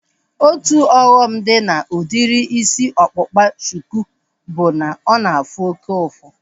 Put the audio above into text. Otu ọghọm dị na udiri isi ọkpụkpa shuku bụ na ọ na-afụ oke ụfụ